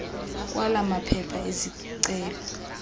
kwala maphepha ezicelo